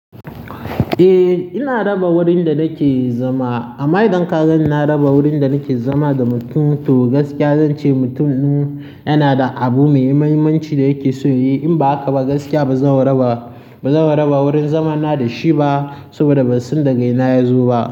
Eh, ina raba wurin da nake zama. A ma'idan ka ganin, na raba wurin da nake zama da mutum to gaskiya zance mutum ɗum in yana da abu me muhimmanci da yake so yi. In ba haka ba, gaskiya ba zan raba wurin zamana da shi ba saboda ban san daga ina ya zo ba.